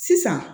Sisan